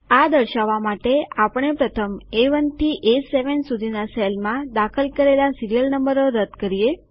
આ દર્શાવવા માટે આપણે પ્રથમ એ1 થી એ7 સુધીના સેલમાં દાખલ કરેલા સીરીઅલ નંબરો રદ કરીએ